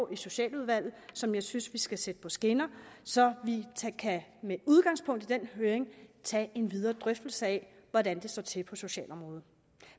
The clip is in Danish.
i socialudvalget og som jeg synes vi skal sætte på skinner så vi med udgangspunkt i den høring kan tage en videre drøftelse af hvordan det står til på socialområdet